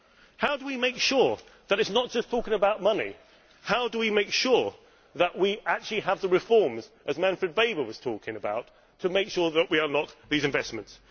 How do we make sure that this is not just talking about money? How do we make sure that we actually have the reforms, as Manfred Weber was saying, to make sure that we unlock these investments?